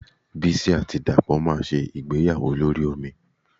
Bísí àti Dàpọ̀ máa ṣe ìgbéyàwó lórí omi